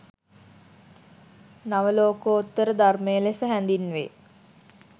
නවලෝකෝත්තර ධර්මය ලෙස හැඳින්වේ.